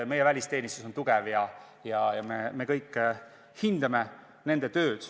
Meie välisteenistus on tugev ja me kõik hindame nende tööd.